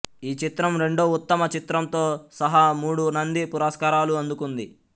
ఈ చిత్రం రెండో ఉత్తమ చిత్రంతో సహా మూడు నంది పురస్కారాలు అందుకుంది